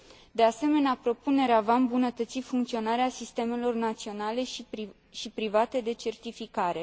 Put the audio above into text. De asemenea, propunerea va îmbunătăți funcționarea sistemelor naționale și private de certificare.